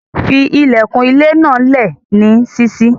Fí ilẹ̀kun ilẹ̀ náà lé ní síṣí.